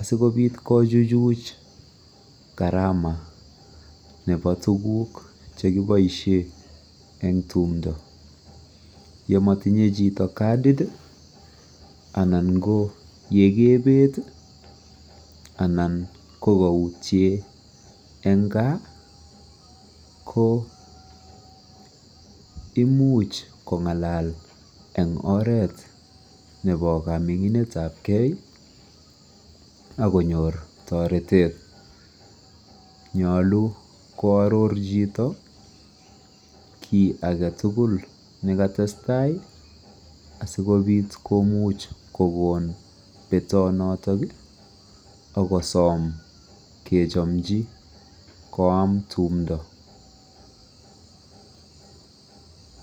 asikobit kochuchuch garama ne bo tuguk chekiboisien eng tumndoo, yemotinye chito katit ii anan ye kebet ii anan ko kautien eng gaa koo imuch kong'alal eng oret ne bo kaming'inetab gee akonyor toretet ,nyolu ko aror chito kii agetugul nekatestai asikobit komuch kokon betonotik akosom kechamji koam tumndoo.